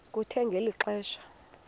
kuthe ngeli xesha